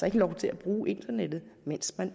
ikke lov til at bruge internettet mens man